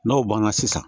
N'o banna sisan